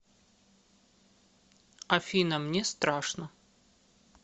афина мне страшно